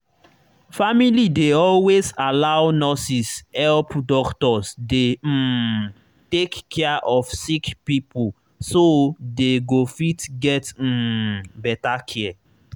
family dey always allow nurses help doctors dey um take care of sick pipo so they go fit get um better care.